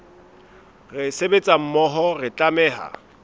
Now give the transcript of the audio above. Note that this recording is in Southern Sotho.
re sebetsa mmoho re tlameha